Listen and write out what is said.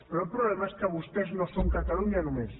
però el problema és que vostès no són catalunya només